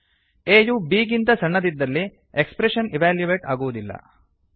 a ಯು b ಗಿಂತ ಸಣ್ಣದಿದ್ದಲ್ಲಿ ಎಕ್ಸ್ಪ್ರೆಶನ್ ಇವ್ಯಾಲ್ಯುಯೇಟ್ ಆಗುವುದಿಲ್ಲ